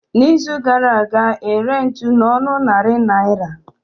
Na izu gara aga, ere ntụ na ọnụ narị naira